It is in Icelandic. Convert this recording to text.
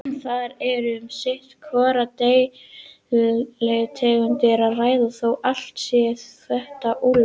Þarna er um sitt hvora deilitegundina að ræða, þó allt séu þetta úlfar.